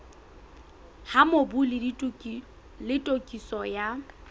ha mobu le tokiso ya